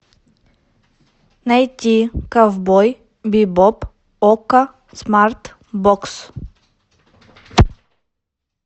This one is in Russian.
найти ковбой бибоп окко смарт бокс